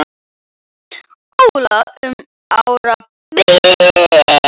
Óla um árabil.